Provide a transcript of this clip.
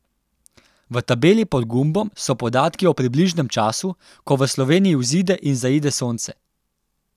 V tabeli pod gumbom so podatki o približnem času, ko v Sloveniji vzide in zaide sonce.